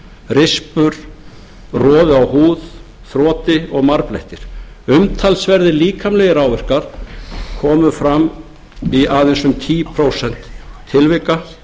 rispur roði á húð þroti og marblettir umtalsverðir líkamlegir áverkar komu fram í aðeins um tíu prósent tilvika